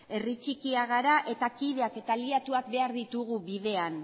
herri txikia gara eta kideak eta aliatuak behar ditugu bidean